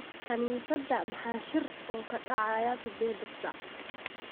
Kaniisadda maxaa shir oo ka dhacaya siddeeda saac